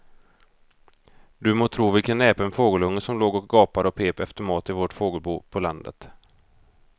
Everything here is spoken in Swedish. Du må tro vilken näpen fågelunge som låg och gapade och pep efter mat i vårt fågelbo på landet.